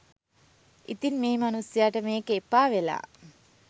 ඉතින් මේ මනුස්සයට මේක එපා වෙලා